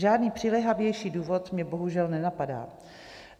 Žádný přiléhavější důvod mě bohužel nenapadá.